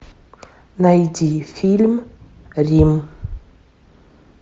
найди фильм рим